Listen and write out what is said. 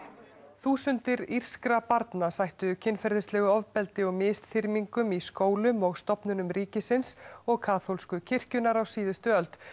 þúsundir írskra barna sættu kynferðislegu ofbeldi og misþyrmingum í skólum og stofnunum ríkisins og kaþólsku kirkjunnar á síðustu öld